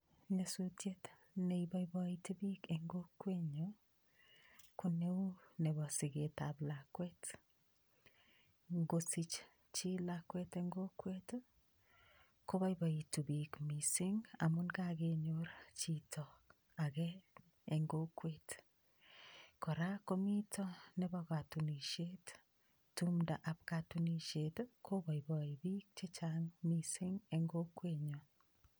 Nyasutiet ne iboiboiti piik eng kokwenyo, ko neu nebo siketab lakwet, ngosich chii lakwet eng kokwet ii, ko boiboitu piik mising amu kakenyor chito ake eng kokwet, kora komito nebo katunisiet, tumdab katunisiet ii koboiboi piik che chang mising eng kokwenyo.